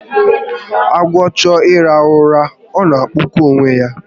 Agwọ chọọ ịrahụ ụra, ọ na-akpụkọ onwe ya